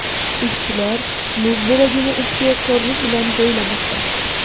Ishchilar muz bo‘lagini ehtiyotkorlik bilan joylamoqda.